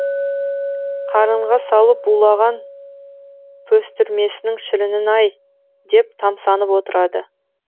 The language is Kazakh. қарынға салып булаған пөстірмесінің шірінін ай деп тамсанып отырады